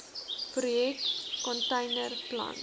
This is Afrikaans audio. projek container plant